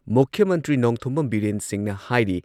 ꯃꯨꯈ꯭ꯌ ꯃꯟꯇ꯭ꯔꯤ ꯅꯣꯡꯊꯣꯝꯕꯝ ꯕꯤꯔꯦꯟ ꯁꯤꯡꯍꯅ ꯍꯥꯏꯔꯤ